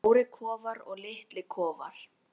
Það eru stórir kofar og litlir kofar.